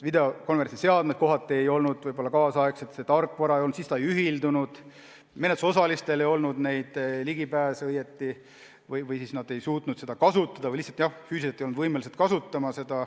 Videokonverentsi seadmed ei olnud kaasaegsed, tarkvara polnud või see ei ühildunud, menetlusosalistel ei olnud vajalikke ligipääse või nad ei osanud neid kasutada või lihtsalt füüsiliselt ei olnud võimelised kasutama.